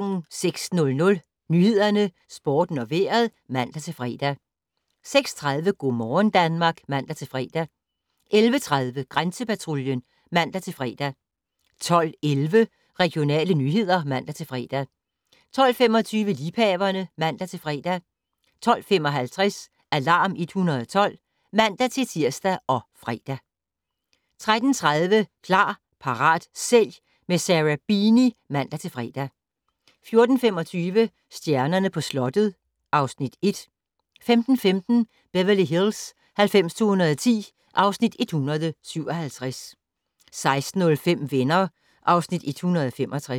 06:00: Nyhederne, Sporten og Vejret (man-fre) 06:30: Go' morgen Danmark (man-fre) 11:30: Grænsepatruljen (man-fre) 12:11: Regionale nyheder (man-fre) 12:25: Liebhaverne (man-fre) 12:55: Alarm 112 (man-tir og fre) 13:30: Klar, parat, sælg - med Sarah Beeny (man-fre) 14:25: Stjernerne på slottet (Afs. 1) 15:15: Beverly Hills 90210 (Afs. 157) 16:05: Venner (Afs. 165)